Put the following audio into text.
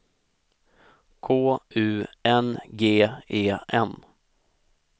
K U N G E N